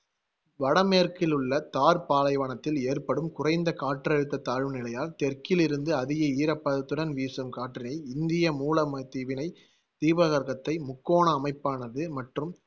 வடமேற்கில் உள்ள தார் பாலைவனத்தில் ஏற்படும் குறைந்த காற்றழுத்த தாழ்வு நிலையால் தெற்கிலிருந்து அதிக ஈரப்பதத்துடன் வீசும் காற்றினை இந்திய மூலவந்தீவினை தீபகற்பத்தை முக்கோண அமைப்பானது மற்றும்